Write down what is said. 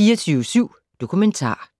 24syv Dokumentar *